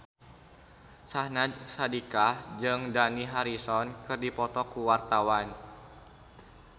Syahnaz Sadiqah jeung Dani Harrison keur dipoto ku wartawan